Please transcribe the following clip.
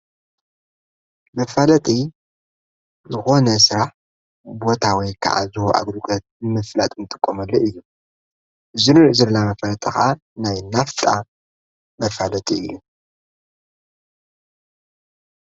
መፋለጥ ሆነሥራሕ ቦታወይ ከዓ ዝሆ ኣግሩጐት ምፍላጥምትቖመለ እዩ ዝኑር ዝለላ መፈለጠኻ ናይ ናፍጣ መፋለተ እዩ።